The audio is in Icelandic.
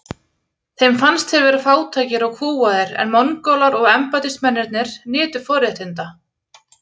Þeim fannst þeir vera fátækir og kúgaðir en Mongólar og embættismennirnir nytu forréttinda.